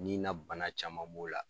Nin na bana caman b'o la.